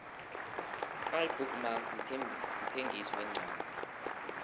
ibook mark mthengisi wencwadi